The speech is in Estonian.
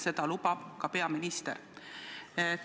Seda lubab ka peaminister.